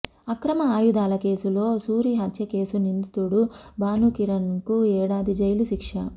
అక్రమ ఆయుధాల కేసులో సూరి హత్యకేసు నిందితుడు భానుకిరణ్ కు ఏడాది జైలు శిక్ష